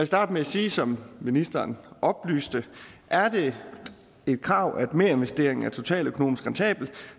starte med at sige som ministeren oplyste at er det et krav at merinvesteringen er totaløkonomisk rentabel